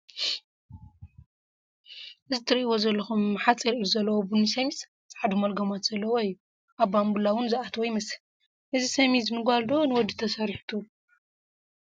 እዚ ሓፂር ኢድ ዘለዎ ቡኒ ሰሚዝ ፣ ፃዓዱ መልጎማት ዘለዎ እዩ፡፡ ኣብ ባንቡላ ውን ዝኣተወ ይመስል፡፡ እዚ ሰሚዝ ንጓል ዶ ንወዲ ተሰሪሑ ትብሉ?